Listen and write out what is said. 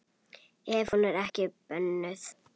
Ef hún er ekki bönnuð.